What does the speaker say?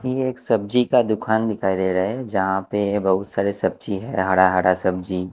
ये एक सब्जी का दुकान दिखाई दे रहा है जहां पे बहुत सारे सब्जी है हरा हरा सब्जी--